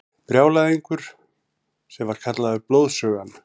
Brjálæðingur sem var kallaður Blóðsugan.